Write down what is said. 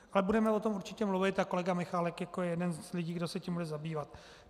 Ale budeme o tom určitě mluvit a kolega Michálek jako jeden z lidí, kdo se tím bude zabývat.